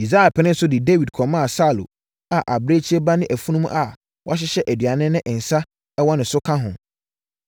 Yisai penee so de Dawid kɔmaa Saulo a abirekyie ba ne afunumu a wɔahyehyɛ aduane ne nsã wɔ ne so ka ho.